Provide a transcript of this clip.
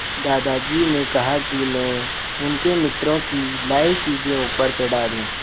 दादाजी ने कहा कि मैं उनके मित्रों की लाई चीज़ें ऊपर चढ़ा दूँ